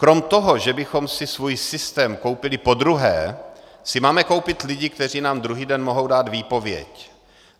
Kromě toho, že bychom si svůj systém koupili podruhé, si máme koupit lidi, kteří nám druhý den mohou dát výpověď.